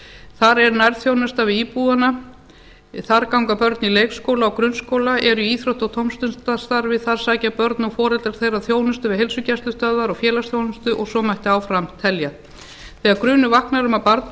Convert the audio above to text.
þar er nærþjónustan við íbúana þar ganga börnin í leikskóla og grunnskóla eru í íþrótta og tómstundastarfi þar sækja börn og foreldrar þeirra þjónustu heilsugæslustöðva og félagsþjónustu og svo mætti áfram telja þegar grunur vaknar um að barn